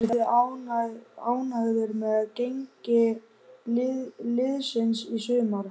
Eruð þið ánægðir með gengi liðsins í sumar?